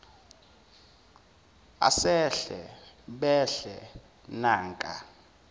asehle behle nanka